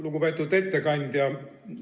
Lugupeetud ettekandja!